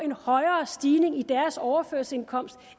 en højere stigning i deres overførselsindkomst